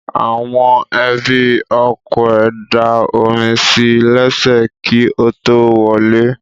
Àwọn ẹbí ọkọ ẹ̀ da omi sí lẹ́sẹ̀ kí ó tó wọlé